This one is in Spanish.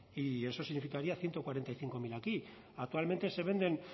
y eso significaría ciento cuarenta y cinco mil aquí actualmente se venden